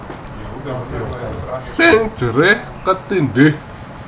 Sing jerih ketindhih